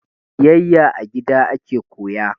Biyayya a gida ake koya